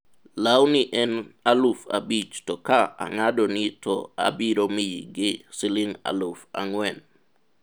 lawni en aluf abich to ka ang'adoni to abiro mi gi siling' aluf ang'wen